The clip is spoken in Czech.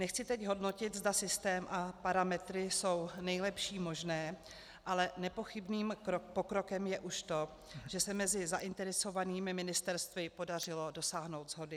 Nechci teď hodnotit, zda systém a parametry jsou nejlepší možné, ale nepochybným pokrokem je už to, že se mezi zainteresovanými ministerstvy podařilo dosáhnout shody.